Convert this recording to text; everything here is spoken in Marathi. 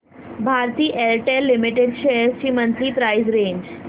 भारती एअरटेल लिमिटेड शेअर्स ची मंथली प्राइस रेंज